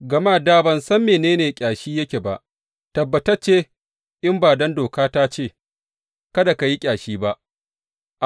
Gama da ban san mene ne ƙyashi yake ba tabbatacce in ba don doka ta ce, Kada ka yi ƙyashi ba.